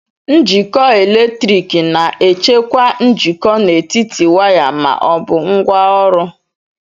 Njikọ eletrik na-echekwa njikọ n'etiti waya ma ọ bụ ngwaọrụ.